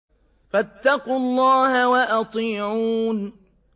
فَاتَّقُوا اللَّهَ وَأَطِيعُونِ